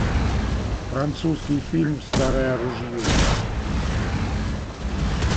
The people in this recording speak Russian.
французский фильм старое ружье